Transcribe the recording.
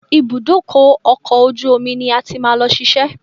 Ibùdó ọkọ̀ ojú omi ni a máa ti lọ ṣiṣẹ́.